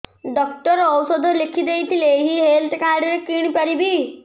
doctor ଔଷଧ ଲେଖିଦେଇଥିଲେ ଏଇ ହେଲ୍ଥ କାର୍ଡ ରେ କିଣିପାରିବି